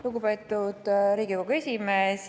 Lugupeetud Riigikogu esimees!